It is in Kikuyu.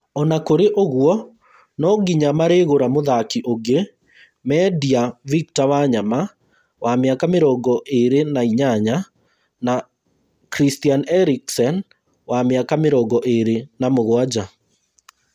Ona kũrĩ ũguo, nonginya marĩgũra mũthaki ũngĩ mendia victor Wanyama wa mĩaka mĩrongo ĩĩrĩ na inyanya na Christian Eriksen wa mĩaka mĩrongo ĩĩrĩ na mũgwanja